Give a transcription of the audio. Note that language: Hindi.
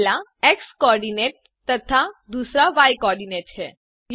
पहला एक्स co आर्डिनेट तथा दूसरा य co आर्डिनेट है